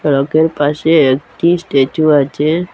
তারপর পাশেই একটি স্ট্যাচু আছে।